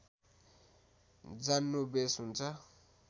जान्नु बेस हुन्छ